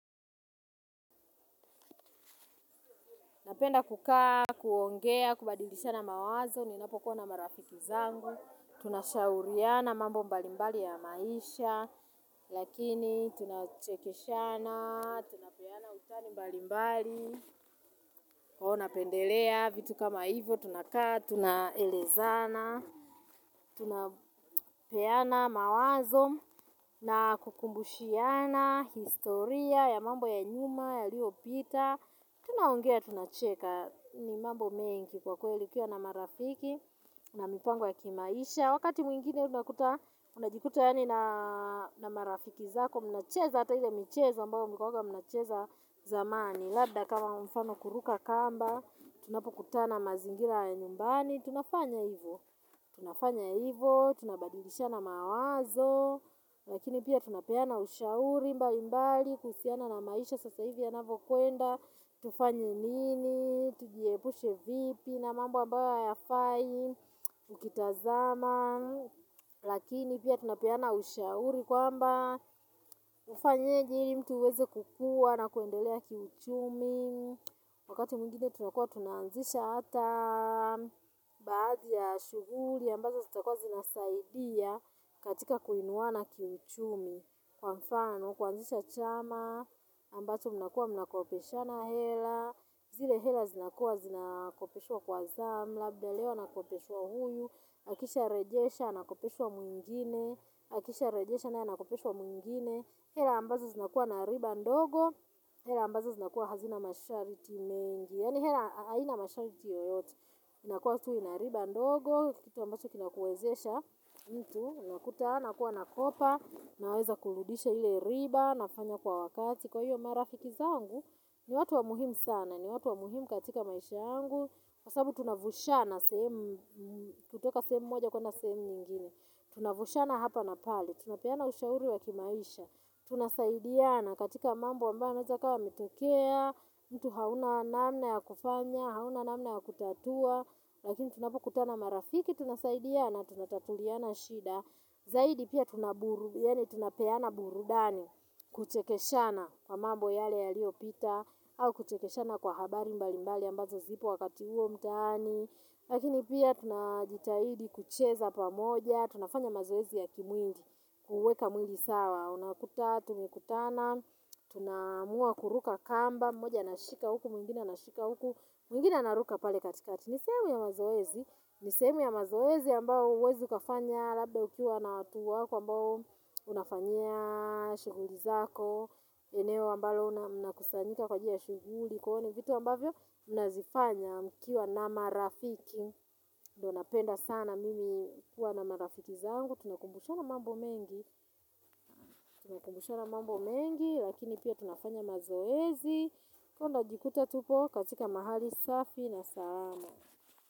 Napenda kukaa, kuongea, kubadilishana mawazo, ninapokuwa na marafiki zangu. Tunashauriana mambo mbalimbali ya maisha. Lakini tunachekeshana, tunapeana utani mbalimbali. Huwa napendelea vitu kama hivyo, tunakaa, tunaelezana. Tunapeana mawazo na kukumbushiana historia ya mambo ya nyuma, yaliyopita. Tunaongea tunacheka ni mambo mengi kwa kweli ukiwa na marafiki na mipango ya kimaisha wakati mwingine unakuta unajikuta yaani na na marafiki zako mnacheza hata ile michezo ambayo mlikuwanga mnacheza zamani labda kama mfano kuruka kamba, tunapokutana mazingira ya nyumbani tunafanya hivyo, tunafanya hivyo tunabadilishana mawazo. Lakini pia tunapeana ushauri mbalimbali kuhusiana na maisha sasa hivi yanavyokwenda. Tufanye nini, tujiepushe vipi na mambo ambayo hayafai, ukitazama, lakini pia tunapeana ushauri kwamba ufanyeje ili mtu uweze kukua na kuendelea kiuchumi. Wakati mwingine tunakuwa tunaanzisha hata baadhi ya shuguhuli ambazo zitakuwa zinasaidia katika kuinuana kiuchumi. Kwa mfano, kuanzisha chama ambacho mnakuwa mnakopeshana hela zile hela zinakuwa zinakopeshwa kwa zamu labda leo anakopeshwa huyu akisharejesha anakopeshwa mwingine akisharejesha naye anakopeshwa mwingine hela ambazo zinakuwa na riba ndogo. Hela ambazo zinakuwa hazina masharti mengi yaani hela haina masharti yoyote inakuwa tu ina riba ndogo kitu ambacho kinakuwezesha. Mtu unakuta nakuwa nakopa naweza kurudisha ile riba nafanya kwa wakati kwa hiyo marafiki zangu ni watu wa muhimu sana ni watu wa muhimu katika maisha yangu kwa sababu tunavushana sehemu kutoka sehemu moja kwenda sehemu nyingine. Tunavushana hapa na pale tunapeana ushauri wa kimaisha tunasaidiana katika mambo ambayo yanaweza kuwa yametokea. Mtu hauna namna ya kufanya hauna namna ya kutatua. Lakini tunapokutana marafiki tunasaidiana, tunatatuliana shida. Zaidi pia tunaburu, yaani tunapeana burudani kuchekeshana kwa mambo yale yaliyopita au kuchekeshana kwa habari mbalimbali ambazo zipo wakati huo mtaani. Lakini pia tunajitahidi kucheza pamoja, tunafanya mazoezi ya kimwili, kuweka mwili sawa unakuta tumekutana, tunaamua kuruka kamba, mmoja anashika huku, mwingine anashika huku, mwingine anaruka pale katikati ni sehemu ya mazoezi, ni sehemu ya mazoezi ambayo huwezi ukafanya labda ukiwa na watu wako ambao unafanyia shughuli zako, eneo ambalo mnakusanyika kwa ajili ya shughuli kwa hiyo ni vitu ambavyo mnazifanya mkiwa na marafiki. Ndiyo napenda sana mimi kuwa na marafiki zangu, tunakumbushana mambo mengi, tunakumbushana mambo mengi, lakini pia tunafanya mazoezi, kwa hiyo najikuta tuko katika mahali safi na salama.